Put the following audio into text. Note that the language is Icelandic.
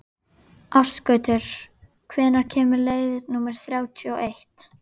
Ásgautur, hvenær kemur leið númer þrjátíu og eitt?